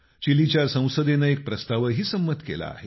चिलीच्या संसदेनं एक प्रस्तावही संमत केला आहे